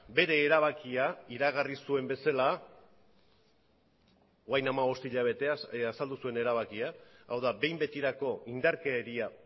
bere erabakia iragarri zuen bezala orain hamabost hilabeteaz azaldu zuen erabakia hau da behin betirako indarkeria